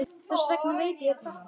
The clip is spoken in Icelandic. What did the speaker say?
Þess vegna veit ég þetta.